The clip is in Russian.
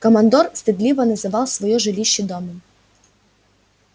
командор стыдливо называл своё жилище домом